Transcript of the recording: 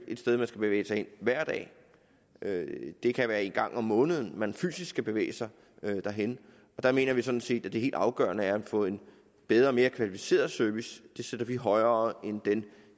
et sted man skal bevæge sig hen hver dag det kan være en gang om måneden man fysisk skal bevæge sig derhen der mener vi sådan set at det helt afgørende er at få en bedre og mere kvalificeret service det sætter vi højere end den